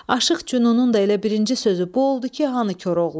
Aşıq Cünunun da elə birinci sözü bu oldu ki, hanı Koroğlu?